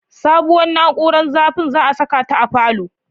Sabuwar na'ura zafin za'a saka ta a falon